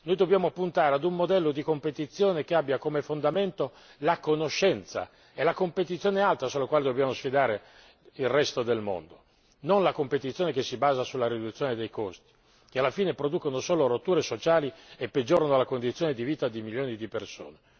Noi dobbiamo puntare ad un modello di competizione che abbia come fondamento la conoscenza. È la competizione alta sulla quale dobbiamo sfidare il resto del mondo, non la competizione che si basa sulla riduzione dei costi che alla fine producono solo rotture sociali e peggiorano la condizione di vita di milioni di persone.